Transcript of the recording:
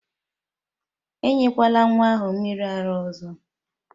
enyekwala nwa ahụ mmiri ara ọzọ!